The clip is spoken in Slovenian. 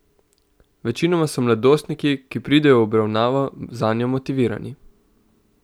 Večinoma so mladostniki, ki pridejo v obravnavo, zanjo motivirani.